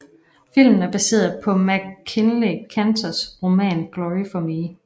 Filmen er baseret på MacKinlay Kantors roman Glory for Me